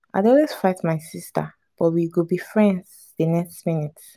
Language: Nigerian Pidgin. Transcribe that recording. i dey always fight my sister but we go be friends the next minute.